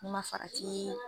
N'ai ma ma faratii